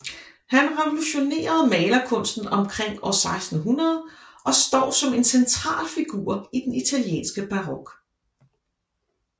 Han revolutionerede malerkunsten omkring år 1600 og står som en central figur i den italienske barok